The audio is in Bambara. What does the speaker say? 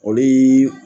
O bi